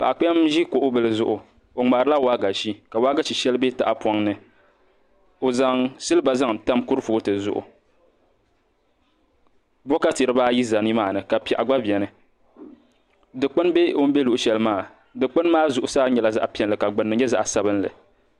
Paɣa kpɛm n ʒi kuɣu bili zuɣu o ŋmaharila waagashe ka waagashe bɛ tahapoŋ ni o zaŋ silba zaŋ tam kurifooti zuɣu bokati dibaayi ʒɛ nimaa ni ka piɛɣu gba biɛni dikpuni bɛ o ni bɛ luɣushɛli maa dikpuni maa zuɣu nyɛla zaɣ piɛlli ka gbunni nyɛ zaɣ sabinli